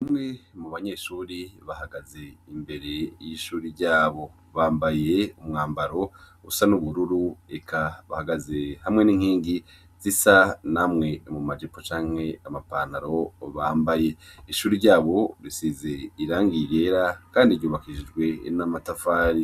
Umwe mu banyeshuri bahagaze imbere y' ishuri ryabo bambaye umwambaro busa n'ubururu eka bahagaze hamwe n'inkingi zisa namwe mu majipo canke amapantaro bambaye ishuri ryabo risize irangiye ibera, kandi ryubakishijwe n'amatafari.